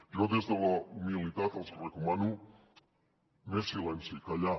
jo des de la humilitat els recomano més silenci callar